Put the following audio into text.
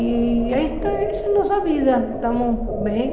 E aí está, essa é nossa vida, estamos bem.